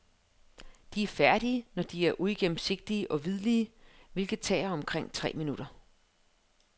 De er færdige, når de er uigennemsigtige og hvidlige, hvilket tager omkring tre minutter.